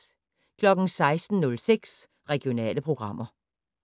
16:06: Regionale programmer